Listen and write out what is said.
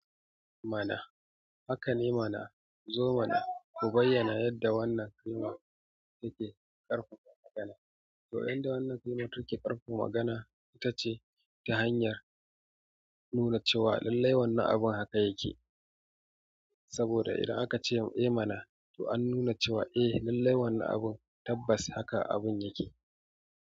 Mana haka ne mana. Zo mana ku bayyana yadda wannan kalma take ƙarfafa magana. To yanda wannan kalmar take ƙarfafa magana itace ta hanyar nuna cewa lallai wannan abun haka yake saboda idan akace eh mana to an nuna cewa eh lallai wannan abun tabbas haka abun yake.